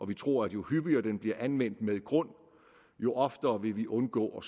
vi tror at jo hyppigere den bliver anvendt med grund jo oftere vil vi undgå